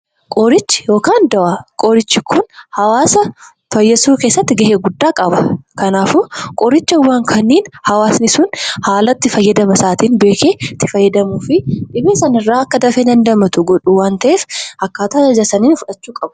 Qorichi yookaan dawaan hawaasa fayyisuu keessatti gahee guddaa qaba. Kanaafuu qoricha san hawaasni haala itti fayyadama isaa beekee fudhachuun dhibee sunirraa akka fayyu waan isaan godhuuf seeraan itti fayyadamuu qabu.